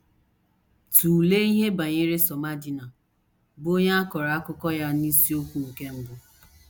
Tụlee ihe banyere Somadina, bụ́ onye a kọrọ akụkọ ya n’isiokwu nke mbụ.